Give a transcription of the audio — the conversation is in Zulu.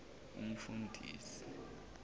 umfundisi